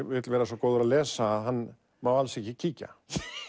vill vera svo góður að lesa að hann má alls ekki kíkja